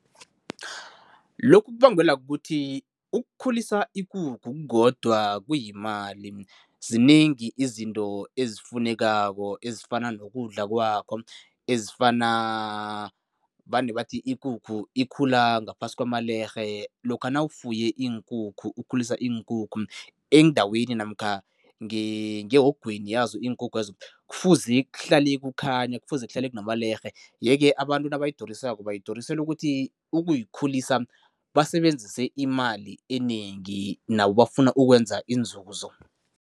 Lokhu kubangelwa kukuthi ukukhulisa ikukhu kukodwa kuyimali. Zinengi izinto ezifunekako ezifana nokudla kwakho, ezifana vane bathi ikukhu ikhula ngaphasi kwamalerhe. Lokha nawufuye iinkukhu, ukhulisa iinkukhu endaweni namkha ngehogweni yazo iinkukhwezo, kufuze kuhlale kukhanya, kufuze kuhlale kunamalerhe yeke abantu nabayidurisako, bayidurisela ukuthi ukuyikhulisa basebenzise imali enengi nabo bafuna ukwenza inzuzo.